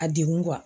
A degun